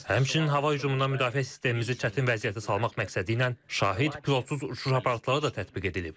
Həmçinin hava hücumundan müdafiə sistemimizi çətin vəziyyətə salmaq məqsədilə şahid, pilotsuz uçuş aparatları da tətbiq edilib.